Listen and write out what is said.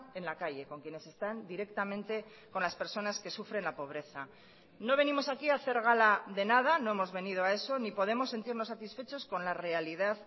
en la calle con quienes están directamente con las personas que sufren la pobreza no venimos aquí a hacer gala de nada no hemos venido a eso ni podemos sentirnos satisfechos con la realidad